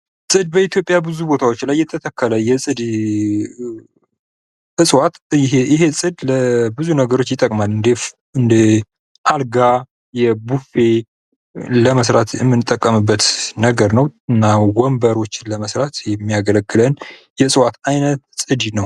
ጽድ በኢትዮጵያ በብዙ ቦታዎች ላይ የተተከለ የጽድ እጽዋት ነው። ይህ ጽድ ለብዙ ነገሮች ይጠቅማል። እንደ አልጋ፣ ቡፌ ለመስራት የምንጠቀምበት ነገር ነው። እና ወንበሮችን ለመስራት የሚያገለግለን የእጽዋት እይነት ጽድ ይባላል።